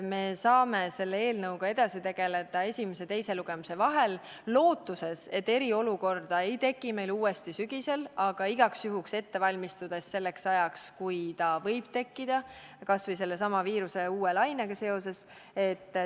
Me saame selle eelnõuga edasi tegeleda esimese ja teise lugemise vahel, lootuses, et eriolukorda ei teki meil sügisel uuesti, aga igaks juhuks valmistudes selleks ajaks, kui see võib tekkida, kas või sellesama viiruse uue lainega seoses.